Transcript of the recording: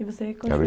E você continua?